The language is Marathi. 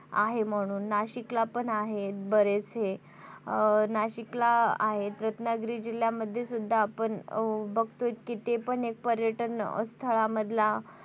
आहे म्हणून नाशिक ला पण आहे बरेच हे नाशिक ला आहेत रत्नागिरी जिल्ह्यामध्ये सुद्धा आपण बघतोयत कि ते पर्यटन स्थळामधला,